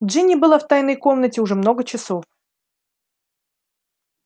джинни была в тайной комнате уже много часов